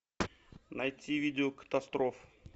найти видео катастроф